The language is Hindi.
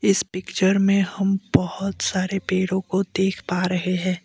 इस पिक्चर में हम बहुत सारे पेड़ों को देख पा रहे है।